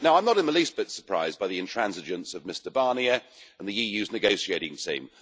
Now, I'm not the least bit surprised by the intransigence of Mr Barnier and the EU's negotiating team.